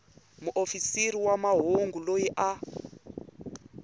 muofisiri wa mahungu loyi a